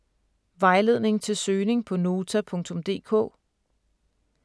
Vejledning til søgning på Nota.dk: